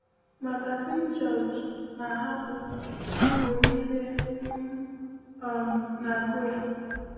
Magazin George na-ahapụ mgbe niile, m um na-agụ ya.